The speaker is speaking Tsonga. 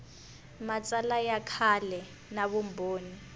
matsalwa ya kahle na vumbhoni